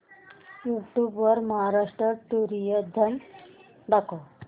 YouTube वर Maharashtra tourism दाखव